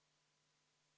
V a h e a e g